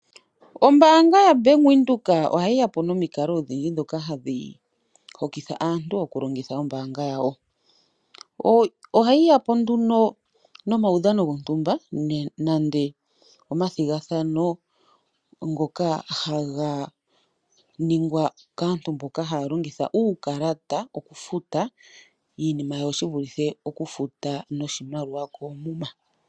Ombaanga yabank Windhoek ohayi ya po nomikalo odhindji dhoka hadhi hokitha aantu oku longitha ombaanga yawo. Ohayi ya po nduno momaudhano gontumba nande omathigathano ngoka haga ningwa kaantu mboka haya longitha uukalata oku futa iinima yawo, shi vulithe oku futa noshimaliwa koomuma.